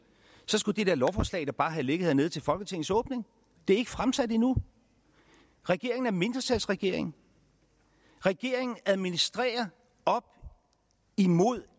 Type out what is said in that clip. så skulle det lovforslag da bare have ligget hernede til folketingets åbning det er ikke fremsat endnu regeringen er en mindretalsregering regeringen administrerer op imod